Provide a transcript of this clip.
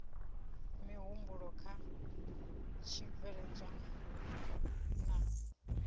mihumbulo kha tshibveledzwa hu na